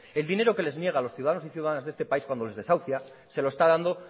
el dinero que les niega a los ciudadanos y ciudadanas de este país cuando les desahucia se lo está dando